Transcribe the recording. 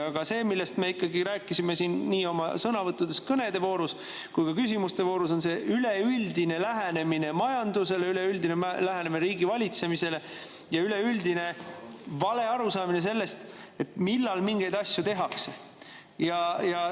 Aga see, millest me ikkagi rääkisime siin nii oma sõnavõttudes kõnede voorus kui ka küsimuste voorus, on see üleüldine lähenemine majandusele, üleüldine lähenemine riigivalitsemisele ja üleüldine vale arusaamine sellest, millal mingeid asju tehakse.